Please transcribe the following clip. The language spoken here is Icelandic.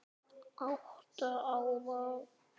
Þín systir Jana.